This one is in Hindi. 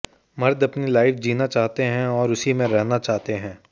मर्द अपनी लाइफ जीना चाहते हैं और उसी में रहना चाहते हैं